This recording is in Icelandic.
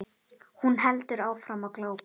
Hún heldur áfram að glápa.